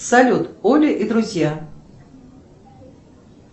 салют оля и друзья